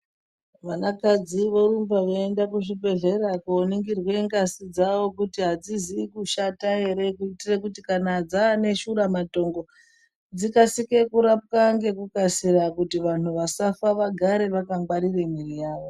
Vana kadzi vo rumba veyi enda ku zvibhedhlera ko ningirwe ngazi dzavo kuti adzizi kushata ere kuitire kuti kana dzane shura matongo dzikasike kurapwa ngeku kasira kuti vanhu vasafa vagare vaka ngwarire mwiri yavo.